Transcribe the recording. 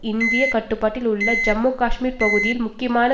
இந்திய கட்டுப்பாட்டில் உள்ள ஜம்மு காஷ்மீர் பகுதியில் முக்கியமான